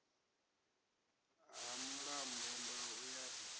ha mulambo ndau ya ri